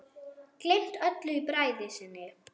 Gleymt öllu í bræði sinni.